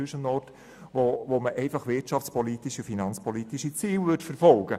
Dann würde man einfach wirtschafts- und finanzpolitische Ziele verfolgen.